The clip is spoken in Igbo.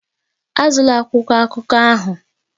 Azụla akwụkwọ akụkọ ahụ!